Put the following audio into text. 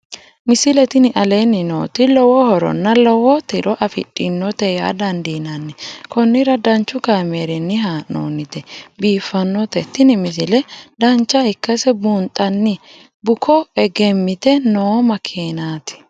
misile tini aleenni nooti lowo horonna lowo tiro afidhinote yaa dandiinanni konnira danchu kaameerinni haa'noonnite biiffannote tini misile dancha ikkase buunxanni buko egemmite noo makeenaati